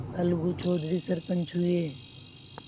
अलगू चौधरी सरपंच हुए